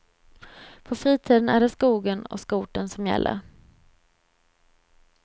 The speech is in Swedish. På fritiden är det skogen och skotern som gäller.